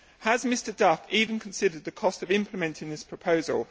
Has Mr Duff even considered the cost of implementing this proposal?